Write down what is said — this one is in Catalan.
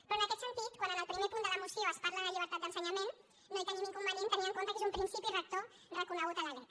però en aquest sentit quan en el primer punt de la moció es parla de llibertat d’ensenyament no hi tenim inconvenient tenint en compte que és un principi rector reconegut a la lec